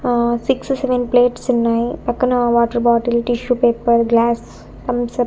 ఆ six seven ప్లేట్సున్నాయి పక్కన water bottle tissue paper glass Thums Up --